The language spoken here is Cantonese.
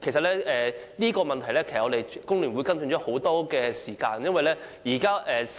就這個問題，其實工聯會已跟進很長的時間。